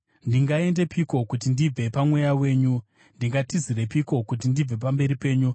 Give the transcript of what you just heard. Ndingaendepiko kuti ndibve paMweya wenyu? Ndingatizirepiko kuti ndibve pamberi penyu?